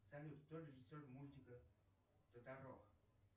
салют кто режиссер мультика тоторо